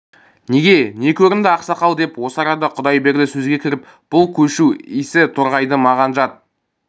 неге не көрінді ақсақал деп осы арада құдайберді сөзге кіріп бұл көшу исі торғайды маған жат